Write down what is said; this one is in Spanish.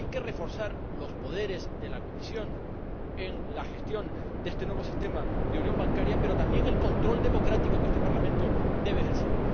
Hay que reforzar los poderes de la Comisión en la gestión de este nuevo sistema de unión bancaria pero también el control democrático que este Parlamento debe ejercer.